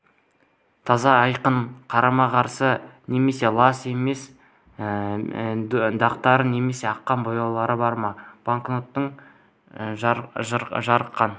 таза айқын қарама-қарсы немесе лас емес пе дақтары немесе аққан бояулары бар ма банкнотты жарыққа